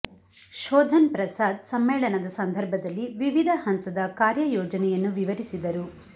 ಶೋಧನ್ ಪ್ರಸಾದ್ ಸಮ್ಮೇಳನದ ಸಂದರ್ಭದಲ್ಲಿ ವಿವಿಧ ಹಂತದ ಕಾರ್ಯ ಯೋಜನೆಯನ್ನು ವಿವರಿಸಿದರು